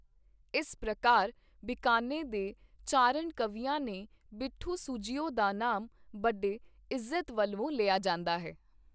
ਇਸ ਪ੍ਰਕਾਰ ਬੀਕਾਨੇ ਦੇ ਚਾਰਣ ਕਵੀਆਂ ਨੇ ਬਿਠੂ ਸੁੱਜਿਓ ਦਾ ਨਾਮ ਬਡੇ ਇੱਜ਼ਤ ਵਲਵੋਂ ਲਿਆ ਜਾਂਦਾ ਹੈ।